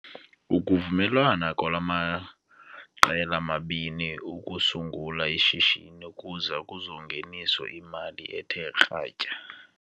Ukuvumelana kwala maqela mabini ukusungula ishishini kuza kungenisa imali ethe kratya.